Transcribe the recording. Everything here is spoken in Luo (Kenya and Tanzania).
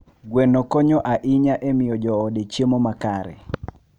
Gweno konyo ahinya e miyo joode chiemo makare.